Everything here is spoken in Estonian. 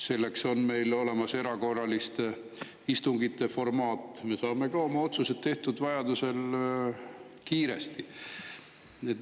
Selleks on meil olemas erakorraliste istungite formaat, me saame ka oma otsused tehtud vajadusel kiiresti.